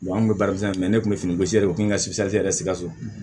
an kun bɛ baara kɛ sira fɛ yan ne kun bɛ fini gosi dɛ u kun ka sikaso yɛrɛ sikaso